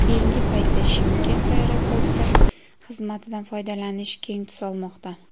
Keyingi paytda Chimkent aeroporti xizmatidan foydalanish keng tus olmoqda.